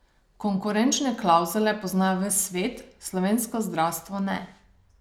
Konkurenčne klavzule pozna ves svet, slovensko zdravstvo ne.